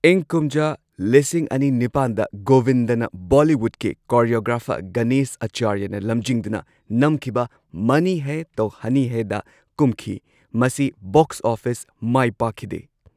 ꯏꯪ ꯀꯨꯝꯖꯥ ꯂꯤꯁꯤꯡ ꯑꯅꯤ ꯅꯤꯄꯥꯟꯗ ꯒꯣꯕꯤꯟꯗꯅ ꯕꯣꯂꯤꯋꯨꯗꯀꯤ ꯀꯣꯔꯤꯌꯣꯒ꯭ꯔꯥꯐꯔ ꯒꯅꯦꯁ ꯑꯥꯆꯥꯔꯌꯅ ꯂꯝꯖꯤꯡꯗꯨꯅ ꯅꯝꯈꯤꯕ ꯃꯅꯤ ꯍꯦ ꯇꯣ ꯍꯅꯤ ꯍꯦ ꯗ ꯀꯨꯝꯈꯤ꯫ ꯃꯁꯤ ꯕꯣꯛꯁ ꯑꯣꯐꯤꯁ ꯃꯥꯢꯄꯥꯛꯈꯤꯗꯦ꯫